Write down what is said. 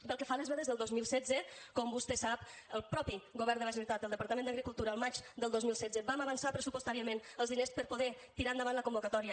pel que fa a les vedes del dos mil setze com vostè sap el mateix govern de la generalitat el departament d’agricultura el maig del dos mil setze vam avançar pressupostàriament els diners per poder tirar endavant la convocatòria